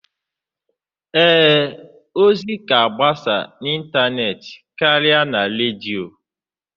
Ee, ozi ga-agbasa n'ịntanetị karịa na redio.